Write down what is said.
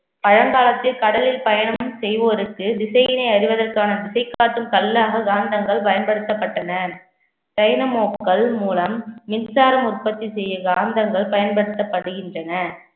பழங்காலத்தில் கடலில் பயணம் செய்வோருக்கு திசையினை அறிவதற்கான திசை காட்டும் கல்லாக காந்தங்கள் பயன்படுத்தப்பட்டன டைனமோக்கள் மூலம் மின்சாரம் உற்பத்தி செய்யும் காந்தங்கள் பயன்படுத்தப்படுகின்றன